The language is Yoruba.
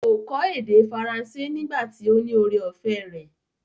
Kò kọ́ èdè faransé nígbà tí ó ní ore-ọ̀fẹ́ rẹ̀.